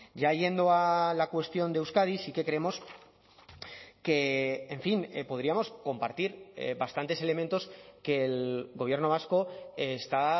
ya yendo a la cuestión de euskadi sí que creemos que en fin podríamos compartir bastantes elementos que el gobierno vasco está